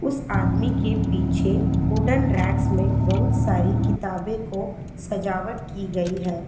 उस आदमी के पीछे वुडन रैक्स में बहुत सारी किताबे को सजावट की गई है।